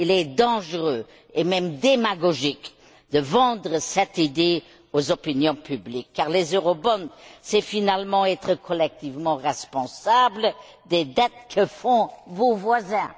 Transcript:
Il est dangereux, et même démagogique, de vendre cette idée aux opinions publiques, car les eurobonds c'est finalement être collectivement responsables des dettes que font vos voisins.